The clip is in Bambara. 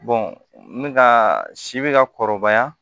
n bɛ ka si bɛ ka kɔrɔbaya